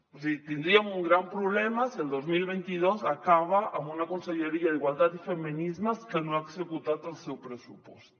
és a dir tindríem un gran problema si el dos mil vint dos acaba amb una conselleria d’igualtat i feminismes que no ha executat el seu pressupost